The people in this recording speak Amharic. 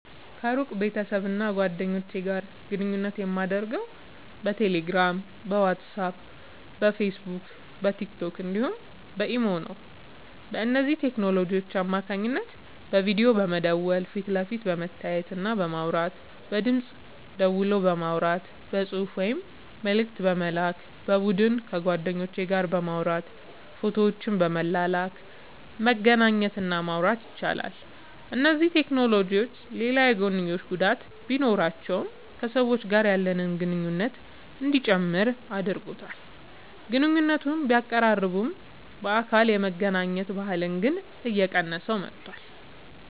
ከሩቅ ቤተሰብና ጓደኞች ጋር ግንኙነት የማደርገው በቴሌግራም፣ በዋትስአፕ፣ በፌስቡክና በቲክቶክ እንዲሁም በኢሞ ነው። በእነዚህ ቴክኖሎጂዎች አማካኝነት በቪዲዮ በመደወል ፊት ለፊት በመተያየትና በማውራት፣ በድምፅ ደወል በማውራት፣ በጽሑፍ ወይም መልእክት በመላክ፣ በቡድን ከጓደኞች ጋር በማውራት ፎቶዎችን በመላላክ መገናኘት እና ማውራት ይቻላል። እነዚህ ቴክኖሎጂዎች ሌላ የጐንዮሽ ጉዳት ቢኖራቸውም ከሰዎች ጋር ያለንን ግንኙነት እንዲጨምር አድርጎታል። ግንኙነቶችን ቢያቀራርብም፣ በአካል የመገናኘት ባህልን ግን እየቀነሰው መጥቷል።